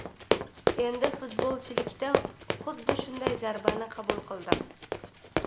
Endi futbolchilikda xuddi shunday zarbani qabul qildim.